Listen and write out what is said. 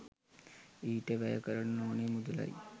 ඊට වැය කරන්න ඕන මුදලයි